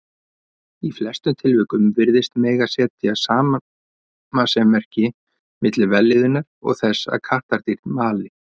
Í flestum tilvikum virðist mega setja samasemmerki milli vellíðunar og þess að kattardýr mali.